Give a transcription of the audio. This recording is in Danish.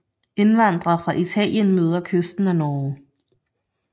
Indvandre fra Italien møder kysten af Norge